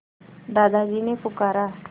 दादाजी ने पुकारा